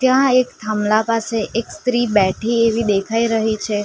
કા એક થાંભલા પાસે એક સ્ત્રી બેઠી એવી દેખાય રહી છે.